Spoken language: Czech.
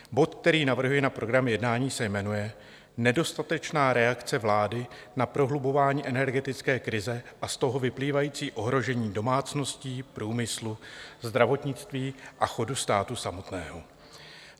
Bod, který navrhuji na program jednání, se jmenuje Nedostatečná reakce vlády na prohlubování energetické krize a z toho vyplývající ohrožení domácností, průmyslu, zdravotnictví a chodu státu samotného.